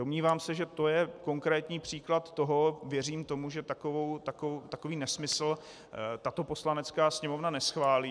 Domnívám se, že to je konkrétní příklad toho, věřím tomu, že takový nesmysl tato Poslanecká sněmovna neschválí.